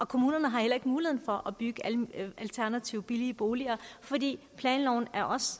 kommunerne har heller ikke muligheden for at bygge alternative billige boliger fordi planloven